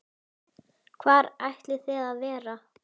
Hvar ætlið þið að vera?